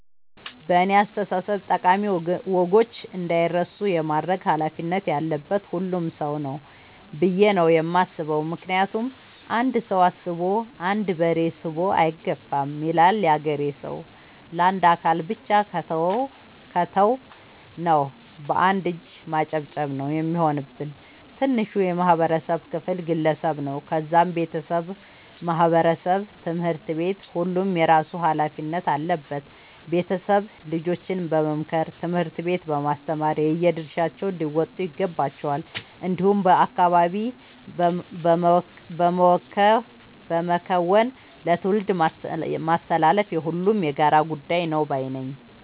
በእኔ አስተሳሰብ ጠቃሚ ወጎች እንዳይረሱ የማድረግ ኃላፊነት ያለበት ሁሉም ሰው ነው። ብዬ ነው የማስበው ምክንያቱም "አንድ ሰው አስቦ አንድ በሬ ስቦ አይገፋም " ይላል ያገሬ ሰው። ለአንድ አካል ብቻ ከተው ነው። በአንድ እጅ ማጨብጨብ ነው የሚሆንብን። ትንሹ የማህበረሰብ ክፍል ግለሰብ ነው ከዛም ቤተሰብ ማህበረሰብ ትምህርት ቤት ሁሉም የየራሱ ኃላፊነት አለበት ቤተሰብ ልጆችን በመምከር ትምህርት ቤት በማስተማር የየድርሻቸውን ሊወጡ ይገባቸዋል። እንዲሁም በአካባቢ በመከወን ለትውልድ ማስተላለፍ የሁሉም የጋራ ጉዳይ ነው ባይነኝ።